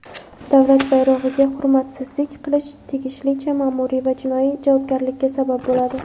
Davlat bayrog‘iga hurmatsizlik qilish tegishlicha maʼmuriy va jinoiy javobgarlikka sabab bo‘ladi.